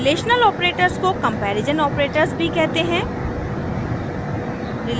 relational operators को comparison operators भी कहते हैं